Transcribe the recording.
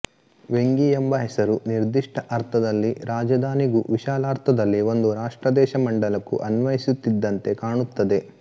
ವೆಂಗಿ ಎಂಬ ಹೆಸರು ನಿರ್ದಿಷ್ಟ ಅರ್ಥದಲ್ಲಿ ರಾಜಧಾನಿಗೂ ವಿಶಾಲಾರ್ಥದಲ್ಲಿ ಒಂದು ರಾಷ್ಟ್ರ ದೇಶ ಮಂಡಲಕ್ಕೂ ಅನ್ವಯಿಸುತ್ತಿದ್ದಂತೆ ಕಾಣುತ್ತದೆ